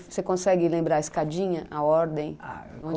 Você consegue lembrar a escadinha, a ordem?